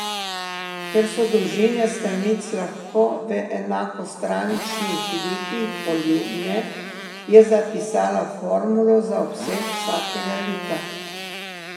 Ker so dolžine stranic lahko v enakostraničnih likih poljubne, je zapisala formulo za obseg vsakega lika.